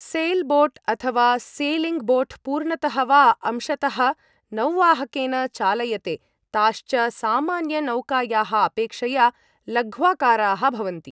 Sailboat अथ वा sailing boat पूर्णतः वा अंशतः नौवाहकेन चालयते, ताश्च सामान्यनौकायाः अपेक्षया लघ्वाकाराः भवन्ति।